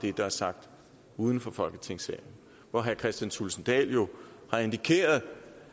er blevet sagt uden for folketingssalen hvor herre kristian thulesen dahl jo har indikeret